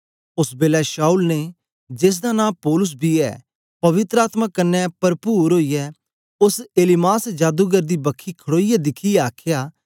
ओस बेलै शाऊल ने जेसदा नां पौलुस बी ऐ पवित्र आत्मा कन्ने परपुर ओईयै ओस एलीमास जादूगर दी बखी खडोईयै दिखियै आखया